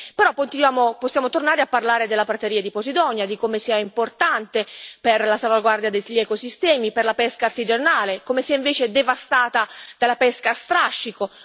Però possiamo tornare a parlare della prateria di Posidonia, di come sia importante per la salvaguardia degli ecosistemi e per la pesca artigianale e di come sia invece devastata dalla pesca a strascico.